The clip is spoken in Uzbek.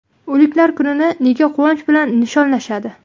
O‘liklar kunini nega quvonch bilan nishonlashadi?